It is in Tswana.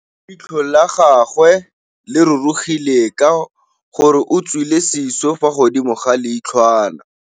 Leitlhô la gagwe le rurugile ka gore o tswile sisô fa godimo ga leitlhwana.